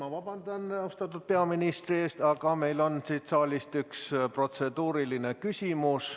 Ma vabandan austatud peaministri ees, aga meil on siit saalist üks protseduuriline küsimus.